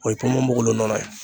O ye ponponpogolon nɔnɔ ye